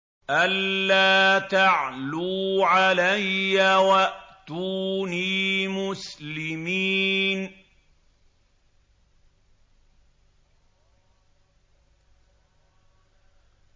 أَلَّا تَعْلُوا عَلَيَّ وَأْتُونِي مُسْلِمِينَ